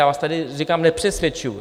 Já vás tady, říkám, nepřesvědčuji.